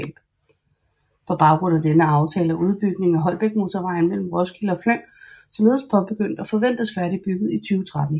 På baggrund af denne aftale er udbygning af Holbækmotorvejen mellem Roskilde og Fløng således påbegyndt og forventes færdigudbygget i 2013